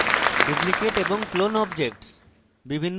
duplicate এবং clone objects